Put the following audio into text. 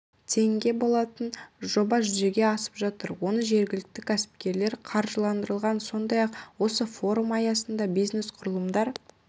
теңге болатын жоба жүзеге асып жатыр оны жергілікті ксіпкерлер қаржыландырған сондай-ақ осы форум аясында бизнес-құрылымдар